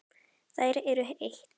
Þær eru eitt.